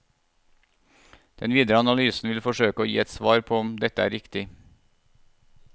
Den videre analysen vil forsøke å gi et svar på om dette er riktig.